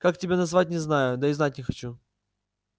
как тебя назвать не знаю да и знать не хочу